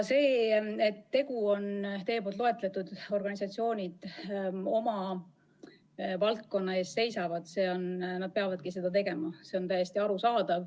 See, et teie loetletud organisatsioonid oma valdkonna eest seisavad – nad peavadki seda tegema, see on täiesti arusaadav.